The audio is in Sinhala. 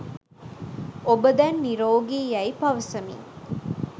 ඔබ දැන් නිරෝගි යැයි පවසමින්